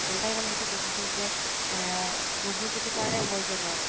তাই ৰ মানে সেইতো দুখ আছিল যে এ বুবু যদি পাৰে, মই কিয় নোৱাৰো